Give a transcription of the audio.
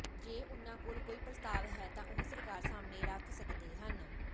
ਜੇ ਉਨ੍ਹਾਂ ਕੋਲ ਕੋਈ ਪ੍ਰਸਤਾਵ ਹੈ ਤਾਂ ਉਹ ਸਰਕਾਰ ਸਾਹਮਣੇ ਰੱਖ ਸਕਦੇ ਹਨ